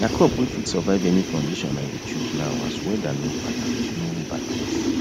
na crop wey fit survive any condition i dey chose now as weather no balance no balance